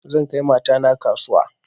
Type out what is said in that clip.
Zan kai mata na kasuwa